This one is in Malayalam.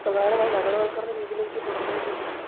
പ്രധാനമായും നഗരവത്കരണ രീതിയിലേക്ക് തുടർന്നുകൊണ്ടിരിക്കുകയാണ്.